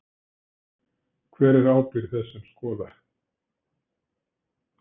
Hver er ábyrgð þess sem skoðar?